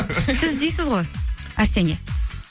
сіз іздейсіз ғой әрсенге